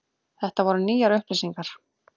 Þetta voru nýjar upplýsingar.